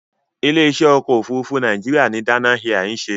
Ilé-iṣẹ́ ọkọ̀-òfurufú Nàìjíríà ni Dana Air ń ṣe.